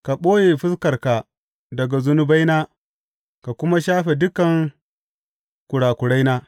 Ka ɓoye fuskarka daga zunubaina ka kuma shafe dukan kurakuraina.